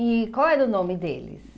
E qual era o nome deles?